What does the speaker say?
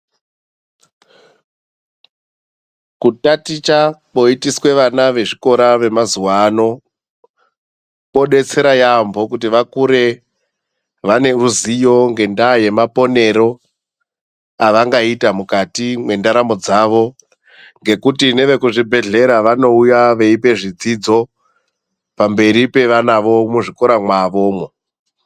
Kutaticha kwoyitiswe vana vezvikora vemazuwaano, kwodetsera yambo kuti vakure vaneruzivo ngendaa yemaponero avangaite mukati mwendaramo dzavo. Ngekuti nevekuzvibhedhlera vanouya veyipa zvidzidzo pamberi pevanavo muzvikora mwavomwo.